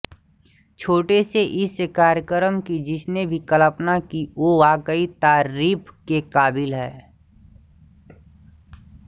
छोटे से इस कार्यक्रम की जिसने भी कल्पना की वो वाकई तारीफ़ के काबिल है